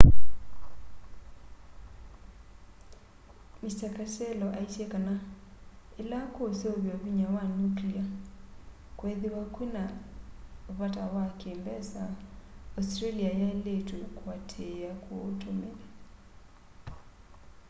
mr castello aisye kana ila kuseuvya vinya wa nuclear kwethiwa kwina vata wa ki mbesa australia yailitwe kuatiia kuutumia